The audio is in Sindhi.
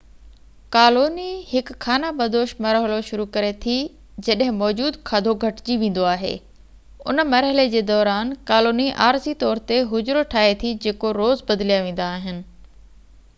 ڪالوني هڪ خانہ بدوش مرحلو شروع ڪري ٿي جڏهن موجود کاڌو گهٽجي ويندو آهي ان مرحلي جي دوران ڪالوني عارضي طور تي حجرو ٺاهي ٿي جيڪو روز بدليا ويندا آهن